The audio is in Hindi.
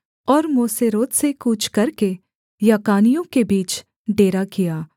और मोसेरोत से कूच करके याकानियों के बीच डेरा किया